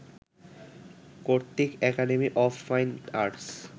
কর্তৃক academy of fine arts